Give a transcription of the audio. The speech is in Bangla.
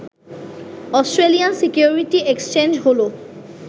অস্ট্রেলিয়ান সিকিউরিটি এক্সচেঞ্জ হল